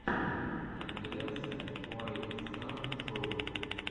компиляция уайт стар шоу